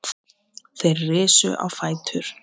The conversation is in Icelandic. Þeir risu á fætur.